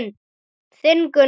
Þinn Gunnar.